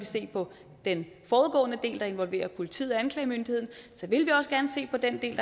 se på den forudgående del der involverer politiet og anklagemyndigheden så vil vi også gerne se på den del